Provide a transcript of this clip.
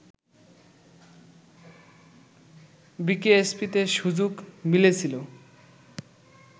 বিকেএসপিতে সুযোগ মিলেছিল